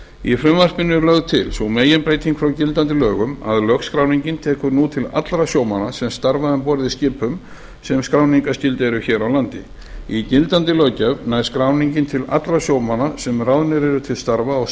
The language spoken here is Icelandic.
í frumvarpinu er lögð til sú meginbreyting frá gildandi lögum að lögskráningin tekur nú til allra sjómanna sem starfa um borð í skipum sem skráningarskyld eru hér á landi í gildandi löggjöf nær skráningin til allra sjómanna sem ráðnir eru til starfa á